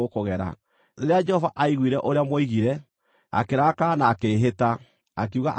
Rĩrĩa Jehova aaiguire ũrĩa mwoigire, akĩrakara na akĩĩhĩta, akiuga atĩrĩ: